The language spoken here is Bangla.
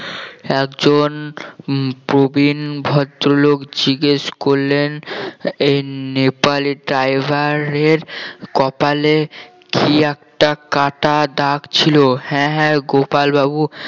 একজন প্রবীণ ভদ্রলোক জিজ্ঞেস করলেন এই নেপালি driver এর কপালে কি একটা কাটা দাগ ছিল হ্যাঁ হ্যাঁ গোপাল বাবু